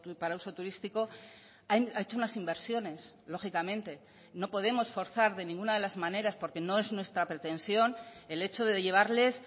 para uso turístico ha hecho unas inversiones lógicamente no podemos forzar de ninguna de las maneras porque no es nuestra pretensión el hecho de llevarles